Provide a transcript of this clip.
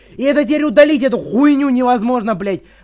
и это теперь удалить эту хуйню невозможно блять